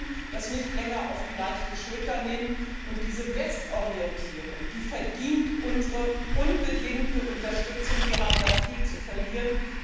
Wir dürfen das nicht länger auf die leichte Schulter nehmen, und diese Westorientierung verdient unsere unbedingte Unterstützung. Wir haben da viel zu verlieren.